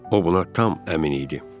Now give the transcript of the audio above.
O buna tam əmin idi.